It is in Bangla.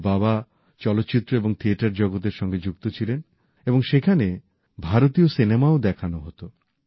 ওঁর বাবা চলচ্চিত্র এবং থিয়েটার জগতের সঙ্গে যুক্ত ছিলেন এবং সেখানে ভারতীয় সিনেমাও দেখানো হতো